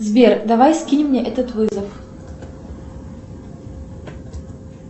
сбер давай скинь мне этот вызов